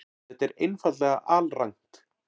Þetta er einfaldlega alrangt.